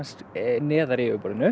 neðar í yfirborðinu